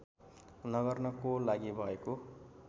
नगर्नको लागि भएको